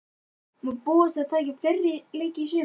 Má búast við að hann taki fleiri leiki í sumar?